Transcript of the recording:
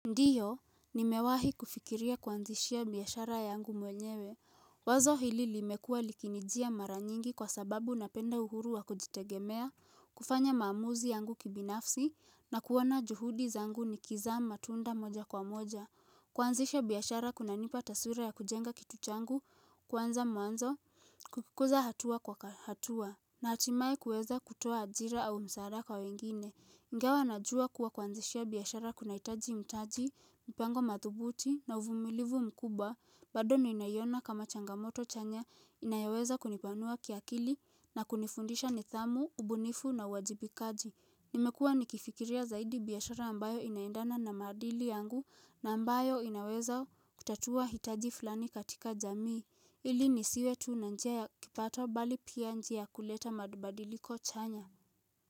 Ndiyo, nimewahi kufikiria kwanzishia biashara yangu mwenyewe Wazo hili limekua likinijia mara nyingi kwa sababu napenda uhuru wa kujitegemea kufanya maamuzi yangu kibinafsi na kuona juhudi zangu nikiza matunda moja kwa moja Kwanzisha biashara kunanipa taswira ya kujenga kituchangu, kuanza mwanzo, kukukuza hatua kwa hatua na hatimaye kuweza kutoa ajira au msaada kwa wengine Igawa najua kuwa kuanzishia biashara kuna hitaji mtaji, mpango mathubuti na uvumilivu mkubwa, bado ninaiyona kama changamoto chanya inayoweza kunipanua kiakili na kunifundisha ni thamu, ubunifu na uwajibikaji. Nimekua nikifikiria zaidi biashara ambayo inaendana na madili yangu na ambayo inaweza kutatua hitaji fulani katika jamii, ili nisiwe tuu na njia ya kipato bali pia njia kuleta mabadiliko chanya.